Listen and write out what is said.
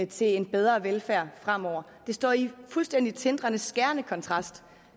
til en bedre velfærd fremover det står i skærende kontrast